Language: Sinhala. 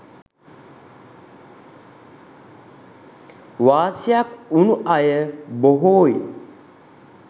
වාසියක් වුණු අය බොහෝයි.